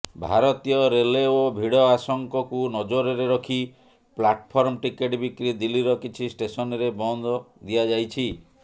ଭାରତୀୟ ରେଲେଓ ଭିଡ ଆଶଙ୍କକୁ ନଜରରେ ରଖି ପ୍ଲାର୍ଟଫର୍ମ ଟିକେଟ୍ ବିକ୍ରି ଦିଲ୍ଲୀର କିଛି ଷ୍ଟେସନରେ ବନ୍ଦ ଦିଆଯାଇଛି